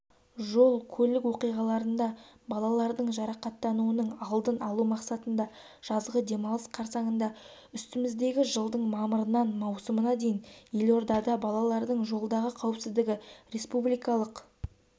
жол-көлік оқиғаларында балалардың жарақаттануының алдын алу мақсатында жазғы демалыс қарсаңында үстіміздегі жылдың мамырынан маусымына дейін елордада балалардың жолдағы қауіпсіздігі республикалық